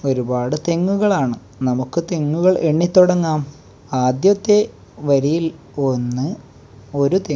ഒരുപാട് തെങ്ങുകളാണ് നമുക്ക് തെങ്ങുകൾ എണ്ണി തുടങ്ങാം ആദ്യത്തെ വരിയിൽ ഒന്ന് ഒരു തെങ്ങ്--